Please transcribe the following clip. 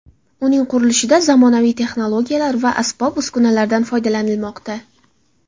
Uning qurilishida zamonaviy texnologiyalar va asbob-uskunalardan foydalanilmoqda.